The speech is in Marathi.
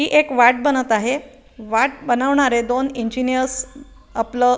ही एक वाट बनत आहे वाट बनवणारे दोन इंजिनीअर्स आपलं --